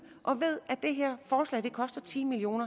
og ved at det her forslag koster ti million